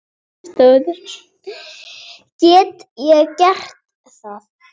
Get ég gert það?